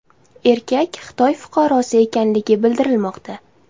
Erkak Xitoy fuqarosi ekanligi bildirilmoqda.